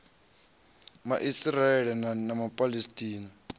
ma israele na ma palesitina